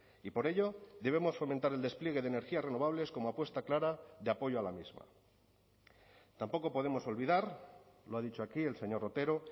y por ello debemos fomentar el despliegue de energías renovables como apuesta clara de apoyo a la misma tampoco podemos olvidar lo ha dicho aquí el señor otero